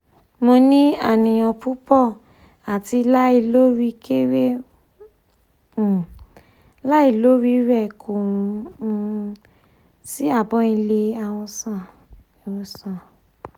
mo ni aniyan pupo ati lailoriire um lailoriire ko um si abo ile iwosan iwosan